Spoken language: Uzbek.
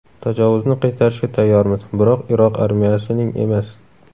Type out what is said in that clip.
Tajovuzni qaytarishga tayyormiz, biroq Iroq armiyasining emas.